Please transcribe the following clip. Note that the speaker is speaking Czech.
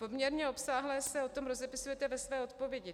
Poměrně obsáhle se o tom rozepisujete ve své odpovědi.